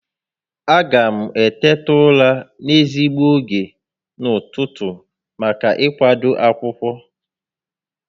A ga m eteta ụra n'ezigbo ógè n'ụtụtụ maka ị kwado akwụkwọ